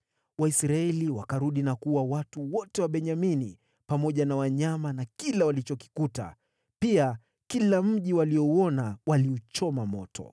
Waisraeli wakarudi na kuua watu wote wa Benyamini, pamoja na wanyama na kila walichokikuta. Pia kila mji waliouona waliuchoma moto.